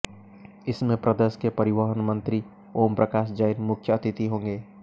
इसमें प्रदेश के परिवहन मंत्री ओमप्रकाश जैन मुख्य अतिथि होंगे